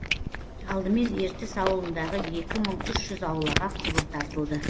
алдымен ертіс ауылындағы екі мың үш жүз аулаға құбыр тартылды